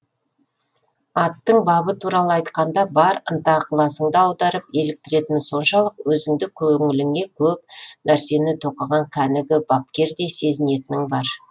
аттың бабы туралы айтқанда бар ынта ықыласыңды аударып еліктіретіні соншалық өзіңді көңіліңе көп нәрсені тоқыған кәнігі бапкердей сезінетінің бар